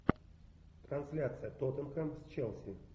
трансляция тоттенхэм с челси